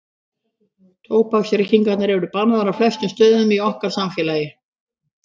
Tóbaksreykingar eru bannaðar á flestum stöðum í okkar samfélagi.